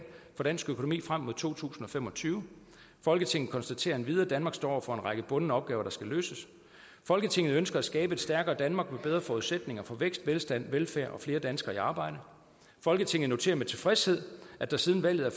for dansk økonomi frem mod to tusind og fem og tyve folketinget konstaterer endvidere danmark står over for en række bundne opgaver der skal løses folketinget ønsker at skabe et stærkere danmark med bedre forudsætninger for vækst velstand velfærd og flere danskere i arbejde folketinget noterer med tilfredshed at der siden valget er